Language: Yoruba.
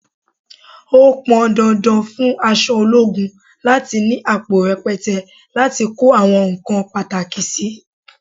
Ó pọn dandan fún aṣọ ológun láti ni àpò rẹpẹtẹ láti kó àwọn nǹkan pàtàkì sì.